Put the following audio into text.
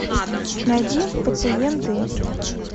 найди пациенты